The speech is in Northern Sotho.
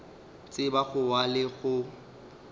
tseba go wa le go